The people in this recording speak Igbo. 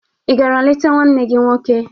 Ị gara leta nwanne gị nwoke?